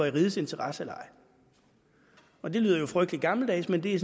i rigets interesse eller ej det lyder jo frygtelig gammeldags men det er